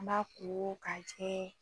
N b'a ko ka jɛ